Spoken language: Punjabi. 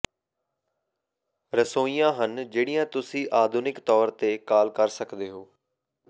ਰਸੋਈਆਂ ਹਨ ਜਿਹੜੀਆਂ ਤੁਸੀਂ ਆਧੁਨਿਕ ਤੌਰ ਤੇ ਕਾਲ ਕਰ ਸਕਦੇ ਹੋ